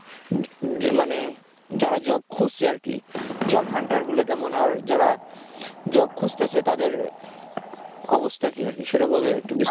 মানে যারা job খুজছে আর কি job hunter গুলো কেমন আর যারা job খুজতেছে তাদের অবস্থা কি আরকি সেটা বলেন একটু বিস্তারিত